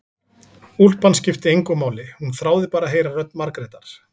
Úlpan skipti engu máli, hún þráði bara að heyra rödd Margrétar.